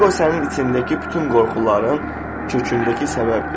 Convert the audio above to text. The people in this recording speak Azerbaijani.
Eqo sənin içindəki bütün qorxuların kökündəki səbəbdir.